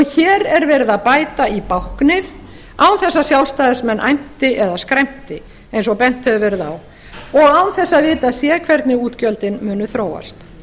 hér er verið að bæta í báknið án þess að sjálfstæðismenn æmti eða skræmti eins og bent hefur verið á og án þess að vitað sé hvernig útgjöldin muni þróast